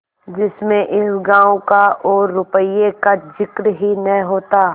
जिसमें इस गॉँव का और रुपये का जिक्र ही न होता